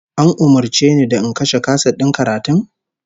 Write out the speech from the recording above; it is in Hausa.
An umurce ni da in kashe kaset din karatun?